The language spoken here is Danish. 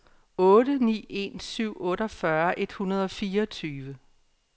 otte ni en syv otteogfyrre et hundrede og fireogtyve